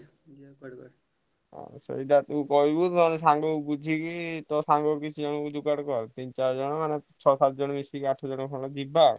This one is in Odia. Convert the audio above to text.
ସେଇଟା ତୁ କହିବୁ ନହେଲେ ସାଙ୍ଗ ବୁଝିକି ତୋ ସାଙ୍ଗ କିଛି ଯୋଗାଡ଼ କର ତିନ ଚାରିଜଣ ଛଅ ସାତ ଜଣ ମିଶିକି ଆଠ ଜଣ ଯିବା ଆଉ।